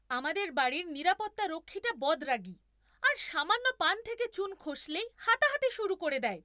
আমাদের বাড়ির নিরাপত্তারক্ষীটা বদরাগী আর সামান্য পান থেকে চুন খসলেই হাতাহাতি শুরু করে দেয়।